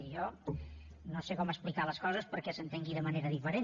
i jo no sé com explicar les coses perquè s’entengui de manera diferent